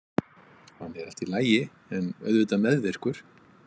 Hann er allt í lagi en auðvitað meðvirkur.